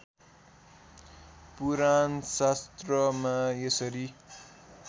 पुराण शास्त्रमा यसरी